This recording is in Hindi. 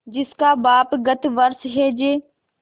जिसका बाप गत वर्ष हैजे